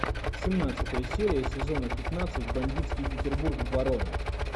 семнадцатая серия сезона пятнадцать бандитский петербург барон